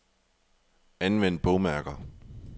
Anvend bogmærker.